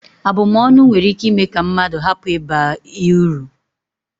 Abụm ọnụ nwere ike ime ka mmadụ hapụ ịba ị uru